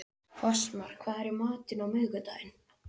Fossmar, hvað er í matinn á miðvikudaginn?